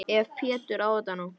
Ef Pétur á þetta nú.